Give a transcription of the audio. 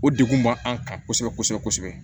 O degun b'an kan kosɛbɛ kosɛbɛ kosɛbɛ